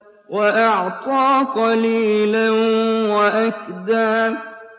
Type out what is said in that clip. وَأَعْطَىٰ قَلِيلًا وَأَكْدَىٰ